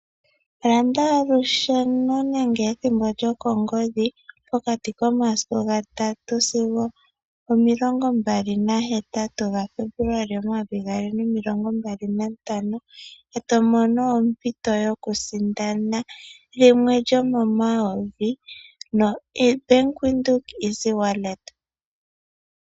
Landa olusheno nenge ethimbo lyokongodhi okuza muga 3-28 ga Febuluali 2025, eto mono ompito yokusindana lyimwe lyo momayovi no Bank Windhoek easy wallet.